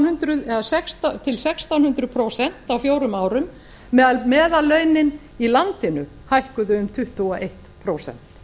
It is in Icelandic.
hundruð til sextán hundruð prósent á fjórum árum meðan meðallaunin í landinu hækkuðu um tuttugu og eitt prósent